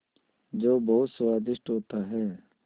जो बहुत स्वादिष्ट होता है